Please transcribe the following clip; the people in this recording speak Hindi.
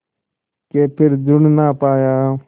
के फिर जुड़ ना पाया